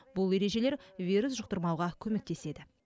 бұл ережелер вирус жұқтырмауға көмектеседі